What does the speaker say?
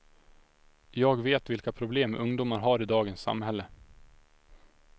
Jag vet vilka problem ungdomar har i dagens samhälle.